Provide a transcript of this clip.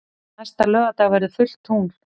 Næsta laugardag verður fullt tungl.